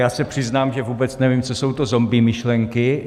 Já se přiznám, že vůbec nevím, co jsou to zombie myšlenky.